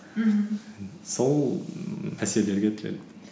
мхм сол ммм мәселелерге тіреледі